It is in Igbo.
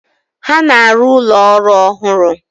Ha na-arụ ụlọ ọrụ ọhụrụ.